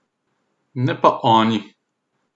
Ne pa oni!